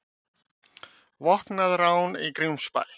Vopnað rán í Grímsbæ